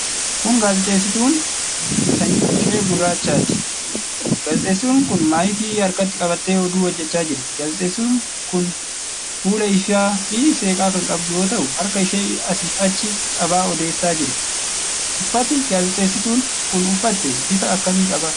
Kun Gaazexeessituu sanyiin ishee gurraachaati. Gaazexeessituun kun maayikii harkatti qabattee oduu hojjachaa jirti. Gaazexeessituun kun fuula ifaa fi seeqaa kan qabdu yoo ta'u, harka ishee asiif achi qabaa odeessaa jirti. Uffati gaazexeessituun kun uffatte bifa akkamii qaba?